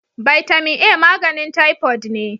Bitamin A maganin typoid ne.